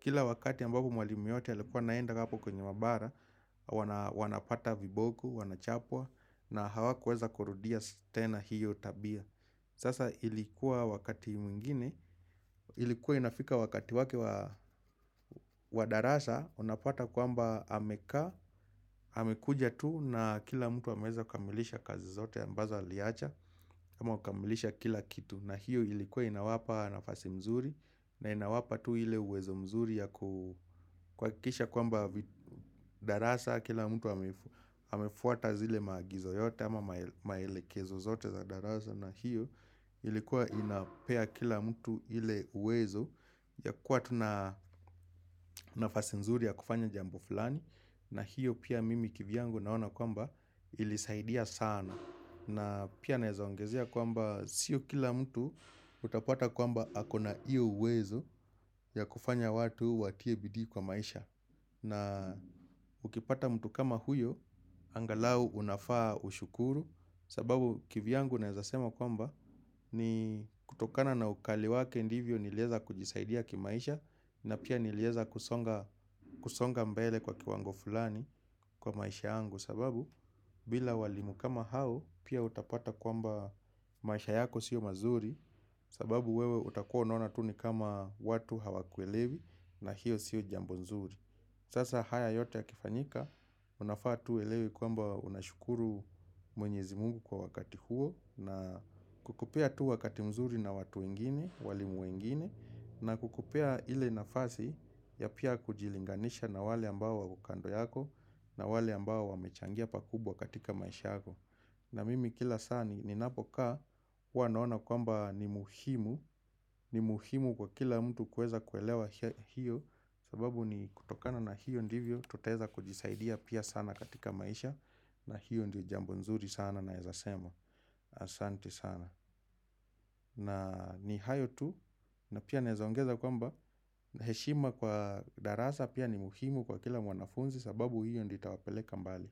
kila wakati ambabu mwalimu yote alikuwa naenda kapo kwenye maabara, wanapata viboku, wanachapwa, na hawa kuweza korudia sitena hiyo tabia. Sasa ilikuwa wakati mingine, ilikuwa inafika wakati wake wadarasa, unapuata kwamba ameka, amekuja tu na kila mtu ameza kamilisha kazi zote ambazo aliacha, ama kamilisha kila kitu. Na hiyo ilikuwa inawapa nafasi mzuri na inawapa tu hile uwezo mzuri ya kwa kisha kwamba darasa kila mtu hamefuata zile magizo yote ama maelekezo zote za darasa na hiyo ilikuwa inapea kila mtu hile uwezo ya kwatu nafasi mzuri ya kufanya jambo fulani na hiyo pia mimi kivyangu naona kwamba ilisaidia sana na pia naweza oangezea kwamba sio kila mtu utapata kwamba akona iyo wezo ya kufanya watu watie bidi kwa maisha na ukipata mtu kama huyo, angalau unafaa ushukuru sababu kivyangu naezasema kwamba ni kutokana na ukali wake ndivyo nileza kujisaidia kimaisha na pia nileza kusonga mbele kwa kiwango fulani kwa maisha yangu kwa sababu bila walimu kama hao pia utapata kwamba maisha yako sio mazuri sababu wewe utakua nona tuni kama watu hawakuelevi na hiyo sio jambonzuri sasa haya yote ya kifanyika unafaa tu uelewe kwamba unashukuru mwenyezi mungu kwa wakati huo na kukupea tu wakati mzuri na watu wengine, walimu wengine na kukupea ile nafasi ya pia kujilinganisha na wale ambao wakando yako na wale ambao wamechangia pakubwa katika maishako na mimi kila sani ni napoka Wanoona kwamba ni muhimu ni muhimu kwa kila mtu kueza kuelewa hiyo sababu ni kutokana na hiyo ndivyo Toteza kujisaidia pia sana katika maisha na hiyo ndi jambo nzuri sana na ezasema Asanti sana na ni hayo tu na pia nezaongeza kwamba heshima kwa darasa pia ni muhimu kwa kila mwanafunzi sababu hiyo ndi itawapeleka mbali.